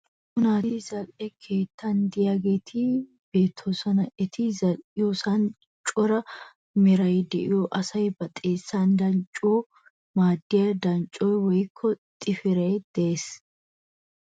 Naa'u asati zali'e keettana de'iyageeti beettoosona. Eti zali'iyoosan cora meray de'iyo asay ba xeessan danccanawu maaddiya danccoy woyikko xafiray de'ees.